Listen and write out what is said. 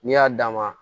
N'i y'a d'a ma